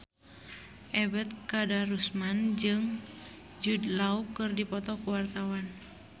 Ebet Kadarusman jeung Jude Law keur dipoto ku wartawan